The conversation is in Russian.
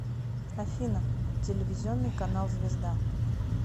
афина телевизионный канал звезда